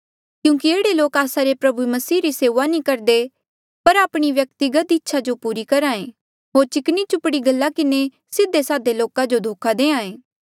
क्यूंकि एह्ड़े लोक आस्सा रे प्रभु मसीह री सेऊआ नी करदे पर आपणी व्यक्तिगत इच्छा जो पूरी करहा ऐें होर चिकनी चुपड़ी गल्ला किन्हें सीधे सादे लोका जो धोखा दें